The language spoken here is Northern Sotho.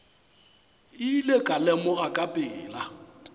ile ka lemoga ka pela